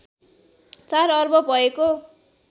४ अर्ब भएको